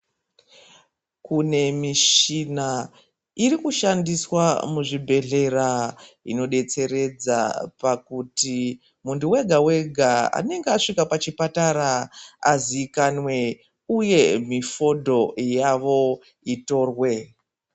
Kune michina iri kushandiswa muzvibhedhlera inodetseredza pakuti muntu vega-vega anenge asvika pachipatara azikanwe, uye mifodho yavo itorwe.